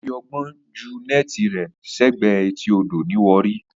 Ó fi ọgbọ́n jù neti rẹ sẹ́gbẹ̀ẹ́ etí odò ní Warri